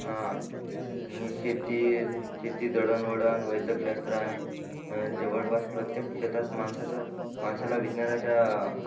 हा आणि शेती शेती दळण वळण वैदक शास्त्र आणि जवळ पास प्रत्येक क्षेत्रा मध्ये माणसाचं माणसाला विदवनाच्या